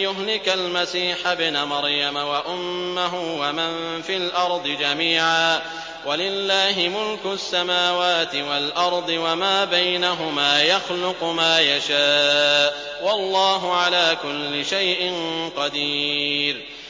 يُهْلِكَ الْمَسِيحَ ابْنَ مَرْيَمَ وَأُمَّهُ وَمَن فِي الْأَرْضِ جَمِيعًا ۗ وَلِلَّهِ مُلْكُ السَّمَاوَاتِ وَالْأَرْضِ وَمَا بَيْنَهُمَا ۚ يَخْلُقُ مَا يَشَاءُ ۚ وَاللَّهُ عَلَىٰ كُلِّ شَيْءٍ قَدِيرٌ